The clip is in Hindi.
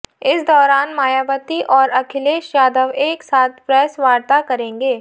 इस दौरान मायावती और अखिलेश यादव एक साथ प्रेस वार्ता करेंगे